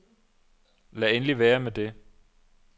Lad endelig være med det!